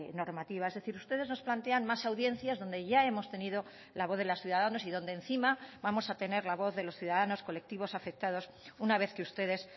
normativa es decir ustedes nos plantean más audiencias donde ya hemos tenido la voz de los ciudadanos y donde encima vamos a tener la voz de los ciudadanos colectivos afectados una vez que ustedes